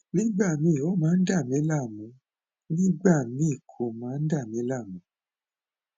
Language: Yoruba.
nígbà míì ó máa ń dà mí láàmú nígbà míì kò máa ń dà mí láàmú